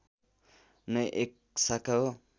नै एक शाखा हो